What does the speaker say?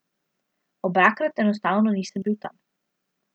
Obakrat enostavno nisem bil tam.